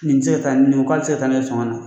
Nin ti se ka taa, nin ko k'a ti se ka taa n'i ye faŋa na